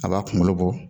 A b'a kunkolo bɔ